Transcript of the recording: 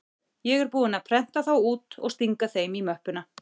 Ég er búinn að prenta þá út og stinga þeim í möppuna.